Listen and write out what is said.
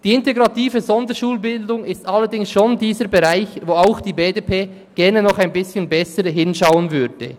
Die integrative Sonderschulbildung ist allerdings schon der Bereich, wo auch die BDP gerne noch ein bisschen genauer hinschauen würde.